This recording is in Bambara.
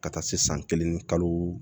Ka taa se san kelen ni kalo